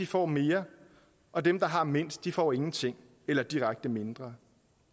får mere og dem der har mindst får ingenting eller direkte mindre